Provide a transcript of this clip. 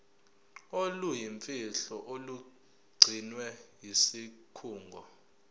oluyimfihlo olugcinwe yisikhungo